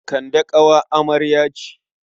Kande ƙawar amarya ce.